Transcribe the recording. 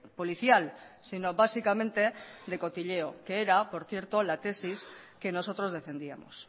policial sino básicamente de cotilleo que era por cierto la tesis que nosotros defendíamos